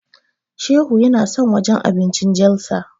Shehu yana son wajen abincin Jalsa.